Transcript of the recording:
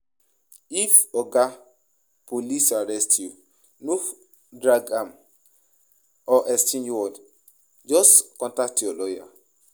If oga police arrest you, no follow am drag or exchange word, just contact your lawyer